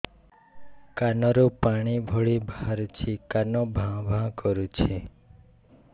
କାନ ରୁ ପାଣି ଭଳି ବାହାରୁଛି କାନ ଭାଁ ଭାଁ କରୁଛି